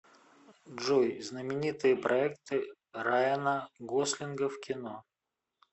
джой знаменитые проекты райана гослинга в кино